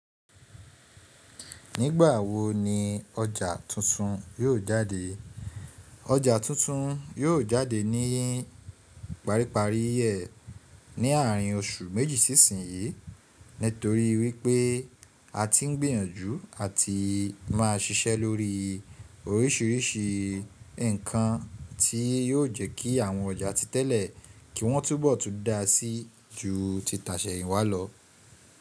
Nígbà wo ni ọjà tuntun yóò jáde? Ọjà tuntun yóò jáde ní ìparí ìparí ẹ̀ ní àárín oṣù méjì sí ìsin yìí, nítorí wípé a ti ń gbìyànjú àti máa ṣiṣẹ́ lórí orísìírísìí nǹkan tí yóò jẹ́ kí àwọn ọjà ti tẹ́lẹ̀ kí wọ́n túbọ̀tú da sí ju ti tasẹ̀ yín wá lọ.